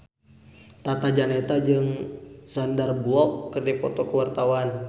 Tata Janeta jeung Sandar Bullock keur dipoto ku wartawan